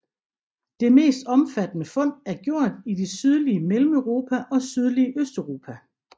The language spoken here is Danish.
Det mest omfattende fund er gjort i det sydlige Mellemeuropa og sydlige Østeuropa